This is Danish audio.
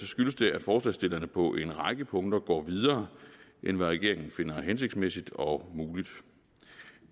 skyldes det at forslagsstillerne på en række punkter går videre end hvad regeringen finder hensigtsmæssigt og muligt